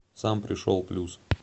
сам пришел плюс